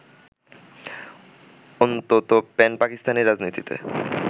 অন্তত প্যান-পাকিস্তানি রাজনীতিতে